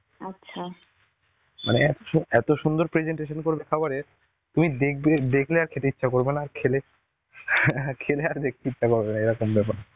মানে এ~ এত সুন্দর presentation করবে খাবারের তুমি দেখবে~ দেখলে আর খেতে ইচ্ছা করবে না. আর খেলে খেলে আর দেখতে ইচ্ছা করবে না, এরকম ব্যাপার.